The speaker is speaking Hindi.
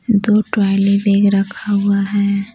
दो ट्रॉयलि बैग रखा हुआ है।